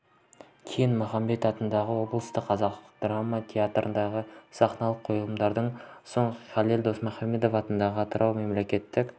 кейін махамбет атындағы облыстық қазақ драма театрындағы сахналық қойылымдардан соң халел досмұхамедов атындағы атырау мемлекеттік